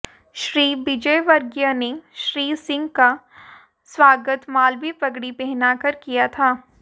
श्री विजयवर्गीय ने श्री सिंह का स्वागत मालवी पगड़ी पहनाकर किया था